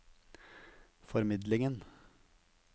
formidlingen